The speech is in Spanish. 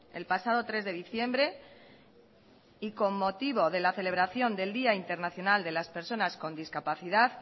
el pasado tres de diciembre y con motivo de la celebración del día internacional de las personas con discapacidad